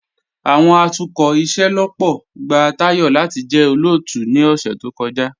Awọn atukọ ìṣẹlọ́pọ̀ gba Tayọ̀ lati jẹ́ olóótù ni ọ̀ṣẹ̀ tó kọja.